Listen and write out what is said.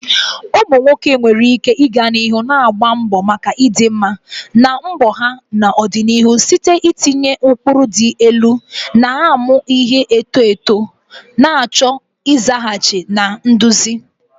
Ụmụ nwoke nwere ike ịga n'ihu na-agba mbọ maka ịdị mma na mbọ ha n'ọdịniihu site n'itinye ụkpụrụ dị elu, na-amụ ihe na-eto eto, na-achọ nzaghachi na nduzi.